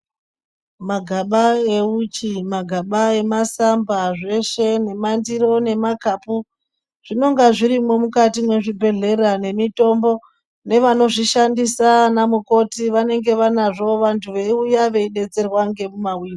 Magaba euchi, magaba emasamba zveshe nemakapu zvinonga zvirimwo mukati mwezvibhedhleya nemitombo nevanozvishandisa anamukoti vanenge vanazvo vantu veiuya veidetserwa ngemumawindo.